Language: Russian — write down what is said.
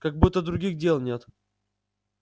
как будто других дел нет